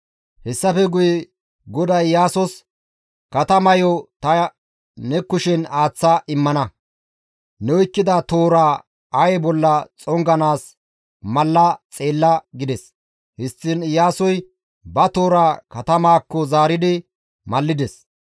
Hessafe guye GODAY Iyaasos, «Katamayo ta ne kushen aaththa immana; ne oykkida tooraa Aye bolla xonganaas malla xeella» gides. Histtiin Iyaasoy ba tooraa katamaakko zaaridi mallides.